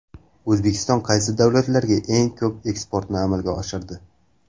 O‘zbekiston qaysi davlatlarga eng ko‘p eksportni amalga oshirdi?.